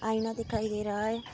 आइना दिखाई दे रहा है।